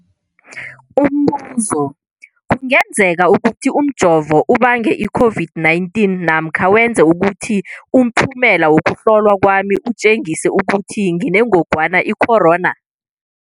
Umbuzo, kungenzekana ukuthi umjovo ubange i-COVID-19 namkha wenze ukuthi umphumela wokuhlolwa kwami utjengise ukuthi nginengogwana i-corona?